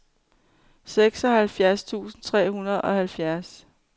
seksoghalvfjerds tusind tre hundrede og halvfjerds